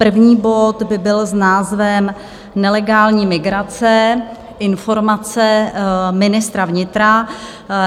První bod by byl s názvem Nelegální migrace - informace ministra vnitra.